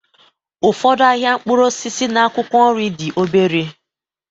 Ụfọdụ ahịa mkpụrụ osisi na akwụkwọ nri dị obere.